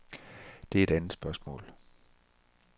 Det er et andet spørgsmål.